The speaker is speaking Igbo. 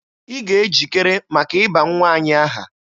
Ị ga-ejikere maka ịba nwa anyị aha!